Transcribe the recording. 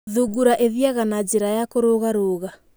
Thungura ĩthiaga na njĩra ya kũrũga rũga.